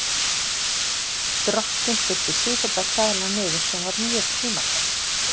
Strokkinn þurfti sífellt að kæla niður sem var mjög tímafrekt.